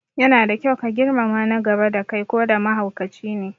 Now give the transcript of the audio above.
Yana da kyau ka girmama na gaba da kai koda mahaukacine